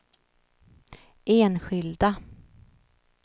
enskilda